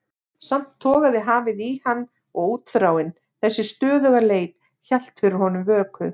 Samt togaði hafið í hann og útþráin, þessi stöðuga leit, hélt fyrir honum vöku.